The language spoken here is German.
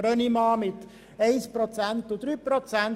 Brönnimann fordern 1 Prozent beziehungsweise 3 Prozent.